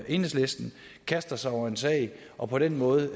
enhedslisten kaster sig over en sag og på den måde